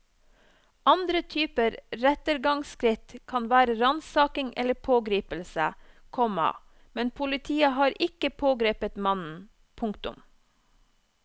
Andre typer rettergangsskritt kan være ransaking eller pågripelse, komma men politiet har ikke pågrepet mannen. punktum